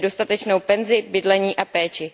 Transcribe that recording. Tedy dostatečnou penzi, bydlení a péči.